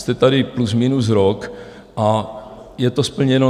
Jste tady plus minus rok a je to splněno?